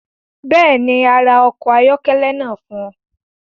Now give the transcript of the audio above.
Bẹ́ẹ̀ ni, a ra ọkọ̀ ayọ́kẹ́lẹ́ náà fún ọ.